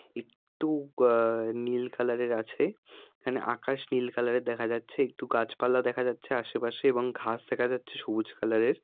একটু আহ নীল কালার -এর আছে এখানে আকাশ নীল কালার -এর দেখা যাচ্ছে একটু গাছপালা দেখা যাচ্ছে আশেপাশে এবং ঘাস দেখা যাচ্ছে সবুজ কালার -এর।